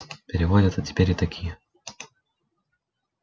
переводятся теперь и такие